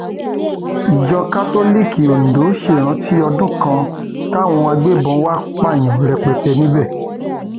ìjọ kátólíìkì ondo ṣèrántí ọdún kan táwọn agbébọn wàá pààyàn rẹpẹtẹ níbẹ